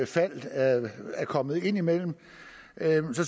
fald er kommet imellem